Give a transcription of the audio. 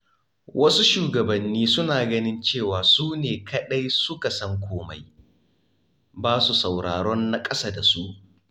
Wasu shugabanni suna ganin cewa su ne kaɗai suka san komai, ba su sauraron na ƙasa da su.